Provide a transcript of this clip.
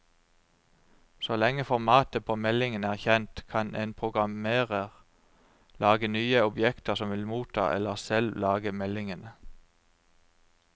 Så lenge formatet på meldingen er kjent, kan en programmerer lage nye objekter som vil motta eller selv lage meldingene.